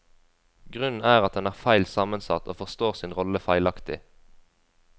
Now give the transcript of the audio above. Grunnen er at den er feil sammensatt og forstår sin rolle feilaktig.